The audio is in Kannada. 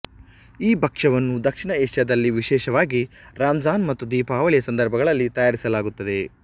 ಈ ಭಕ್ಷ್ಯವನ್ನು ದಕ್ಷಿಣ ಏಷ್ಯಾದಲ್ಲಿ ವಿಶೇಷವಾಗಿ ರಂಜಾನ್ ಮತ್ತು ದೀಪಾವಳಿಯ ಸಂದರ್ಭಗಳಲ್ಲಿ ತಯಾರಿಸಲಾಗುತ್ತದೆ